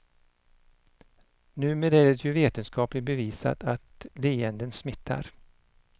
Numera är det ju vetenskapligt bevisat att leenden smittar.